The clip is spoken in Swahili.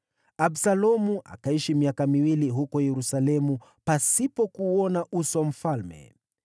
Absalomu akaishi miaka miwili huko Yerusalemu pasipo kuuona uso wa mfalme.